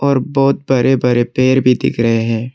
और बहुत बड़े बड़े पेड़ भी दिख रहे हैं।